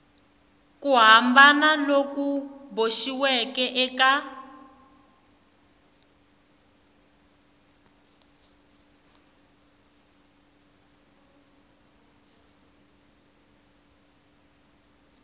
ku hambana loku boxiweke eka